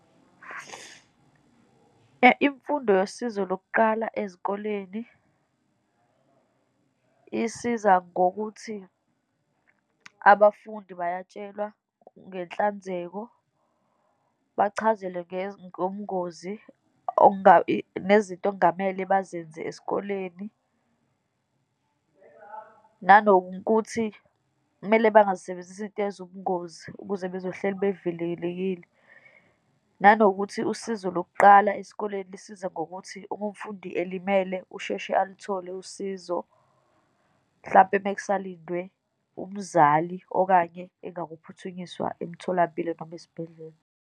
Imfundo yosizo lokuqala ezikoleni isiza ngokuthi abafundi bayatshelwa ngenhlanzeko, bachazelwe ngobungozi nezinto okungamele bazenze esikoleni, nanokuthi kumele bangazisebenzisi izinto eziwubungozi ukuze bezohlezi bevilelekile, nanokuthi usizo lokuqala esikoleni lisize ngokuthi uma umfundi elimele usheshe aluthole usizo, mhlampe uma kusalindwe umzali, okanye engakaphuthunyiswa emtholampilo, noma esibhedlela.